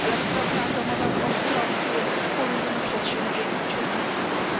Elektrownia atomowa w Ostrowcu jest wspólnym przedsięwzięciem